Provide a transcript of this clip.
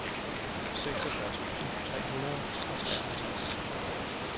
seksogfyrre tusind tre hundrede og treoghalvtreds